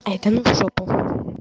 ай да ну в жопу